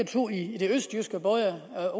to i det østjyske både